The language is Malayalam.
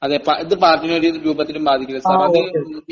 അതെ, ഇത് പാർട്ടിയിനെ ഒരു രൂപത്തിലും ബാധിക്കില്ല സാർ..അത്..